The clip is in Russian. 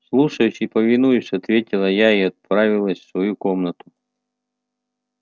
слушаюсь и повинуюсь ответила я и отправилась в свою комнату